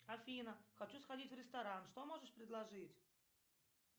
афина хочу сходить в ресторан что можешь предложить